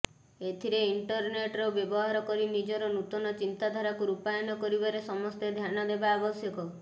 ଏଥିରେ ଇଣ୍ଟରନେଟ୍ର ବ୍ୟବହାର କରି ନିଜର ନୂତନ ଚିନ୍ତାଧାରାକୁ ରୂପାୟନ କରିବାରେ ସମସ୍ତେ ଧ୍ୟାନ ଦେବା ଆବଶ୍ୟକ